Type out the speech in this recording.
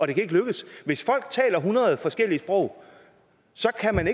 det kan ikke lykkes hvis folk taler hundrede forskellige sprog så kan man